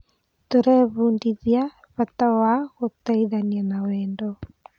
Tũrebundithia bata wa gũteithania na wendo.